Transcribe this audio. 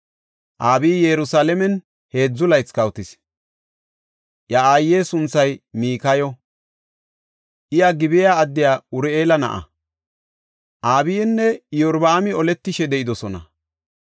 Abiyi Yerusalaamen heedzu laythi kawotis. Iya aaye sunthay Mikayo; iya Gib7a addiya Uri7eela na7a. Abiyinne Iyorbaami oletishe de7idosona.